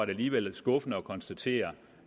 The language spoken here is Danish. alligevel skuffende at konstatere